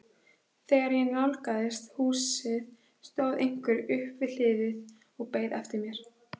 Þegar ég nálgaðist húsið stóð einhver upp við hliðið og beið eftir mér.